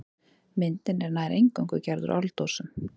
Myndin er nær eingöngu gerð úr áldósum.